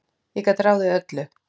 Ég gat ráðið öllu.